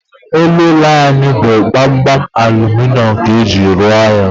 Elu ụlọ anyị bụ gbamgbam aluminium ka eji ruo ya